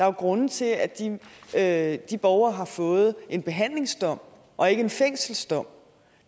jo grunde til at at de borgere har fået en behandlingsdom og ikke en fængselsdom